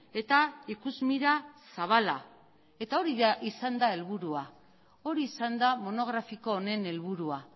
eta ikusmira zabala eta hori izan da helburua hori izan da monografiko honen helburua